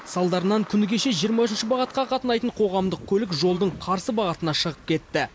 салдарынан күні кеше жиырма үшінші бағытқа қатынайтын қоғамдық көлік жолдың қарсы бағытына шығып кетті